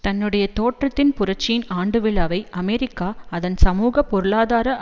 தன்னுடைய தோற்றத்தின் புரட்சியின் ஆண்டு விழாவை அமெரிக்கா அதன் சமூக பொருளாதார